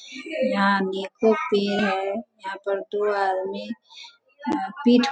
यहाँ अनेकों पेड़ है यहाँ पर अ पीठ --